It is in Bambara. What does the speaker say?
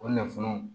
O nafolo